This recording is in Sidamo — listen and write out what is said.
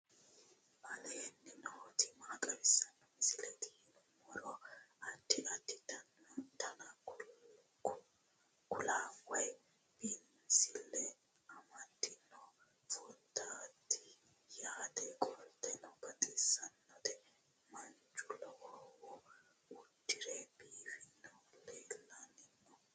aleenni nooti maa xawisanno misileeti yinummoro addi addi dananna kuula woy biinsille amaddino footooti yaate qoltenno baxissannote manchu lowohu uddire biifinohu leellanni nooe